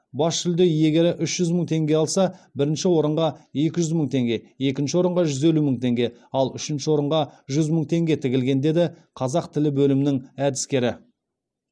бас жүлде иегері үш жүз мың теңге алса бірінші орынға екі жүз мың теңге екінші орынға жүз елу мың теңге ал үшінші орынға жүз мың теңге тігілген деді қазақ тілі бөлімінің әдіскері